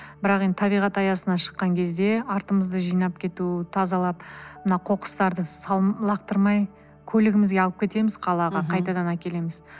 бірақ енді табиғат аясына шыққан кезде артымызды жинап кету тазалап мына қоқыстарды лақтырмай көлігімізге алып кетеміз қалаға қайтадан әкелеміз